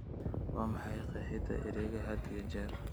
Waa maxay qeexida ereyga had iyo jeer?